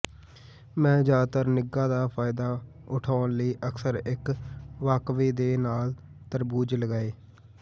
ਮੈਂ ਜ਼ਿਆਦਾਤਰ ਨਿੱਘਾਂ ਦਾ ਫਾਇਦਾ ਉਠਾਉਣ ਲਈ ਅਕਸਰ ਇੱਕ ਵਾਕਵੇ ਦੇ ਨਾਲ ਤਰਬੂਜ ਲਗਾਏ